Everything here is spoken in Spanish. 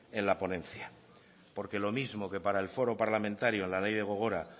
en la ponencia porque los mismo que para el foro parlamentario en la ley de gogora